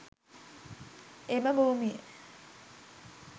එම භූමිය